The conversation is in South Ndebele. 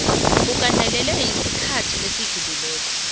agandelelwe esikhathini esidlulileko